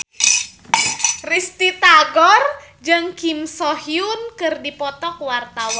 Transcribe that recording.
Risty Tagor jeung Kim So Hyun keur dipoto ku wartawan